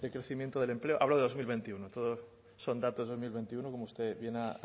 de crecimiento del empleo hablo de dos mil veintiuno todos son datos de dos mil veintiuno como usted bien ha